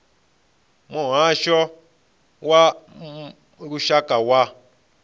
a muhasho wa lushaka wa